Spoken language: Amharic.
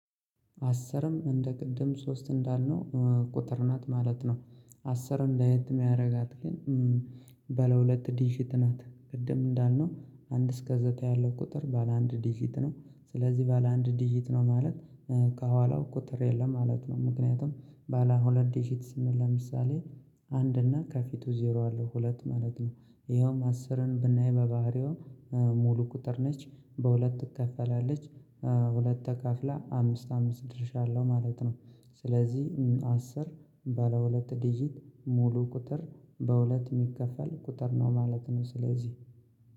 አስርም እንደ ቅድም ሶስት እንዳልነው ቁጥር ናት ማለት ነው። አስርን ለየትም ሚያደርጋት ግን ባለሁለት ዲጂት ናት ቅድም እንዳልነው አንድ እስከ ዘጠኝ ያለው ቁጥር ባለ አንድ ዲጂት ነው። ስለዚህ ባለ አንድ ዲጂት ነው ማለት ከኋላው ቁጥር የለም ማለት ነው። ምክንያቱም ባለ ሁለት ዲጂት ስንል ለምሳሌ አንድ እና ከፊቱ ዜሮ አለው ሁለት ማለት ነው። ይኸውም አስርን ብናይ በባህሪው ሙሉ ቁጥር ነች። በሁለት ትከፈላለች። ሁለት ተካፍላ አምስት አምስት ድርሻ አለው ማለት ነው። ስለዚህ አስር ባለሁለት ዲጂት ሙሉ ቁጥር በሁለት የሚከፈል ቁጥር ነው ማለት ነው። ስለዚህ